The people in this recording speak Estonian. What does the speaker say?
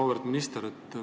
Auväärt minister!